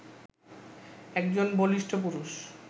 একজন বলিষ্ঠ পুরুষ